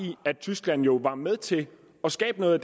at tyskland jo var med til at skabe noget